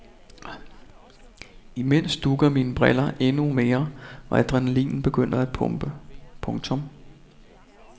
Imens dugger mine briller endnu mere og adrenalinen begynder at pumpe. punktum